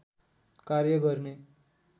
कार्य गर्ने